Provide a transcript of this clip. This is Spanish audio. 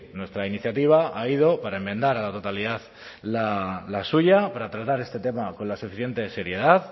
nuestra iniciativa ha ido para enmendar a la totalidad la suya para tratar este tema con la suficiente seriedad